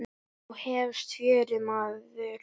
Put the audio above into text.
Nú hefst fjörið, maður.